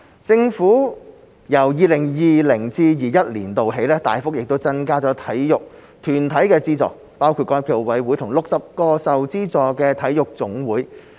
政府由 2020-2021 年度起大幅增加對體育團體的資助，包括港協暨奧委會和60個受資助體育總會。